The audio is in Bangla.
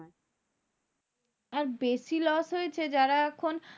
এক বেশি loss হয়েছে যারা এখন